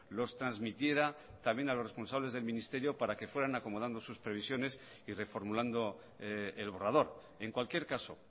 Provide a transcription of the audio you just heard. los transmitiera también a los responsables del ministerio para que fueran acomodando sus previsiones y reformulando el borrador en cualquier caso